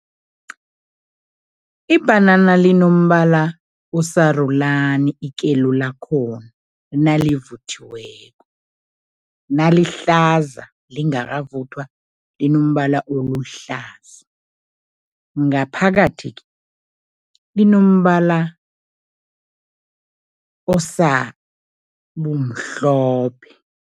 Ibhanana linombala osarulani, ikelo lakhona nalivuthiweko, nalihlaza lingakavuthwa, linombala oluhlaza. Ngaphakathi-ke linombala osabumhlophe.